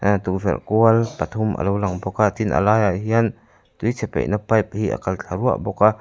a tukverh kual pathum a lo lang bawk a tin a lai ah hian tuichhe paihna pipe hi a kal thla vah bawk a.